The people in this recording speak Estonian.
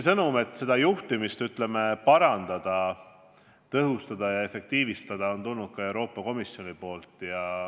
Sõnum, et projekti juhtimist on vaja parandada ja tõhustada, on tulnud ka Euroopa Komisjonilt.